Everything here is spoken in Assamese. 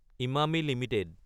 ইমামী এলটিডি